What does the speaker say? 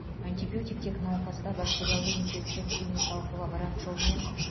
антибиотик тек науқаста бактериалды инфекция клиникалық лаборант жолымен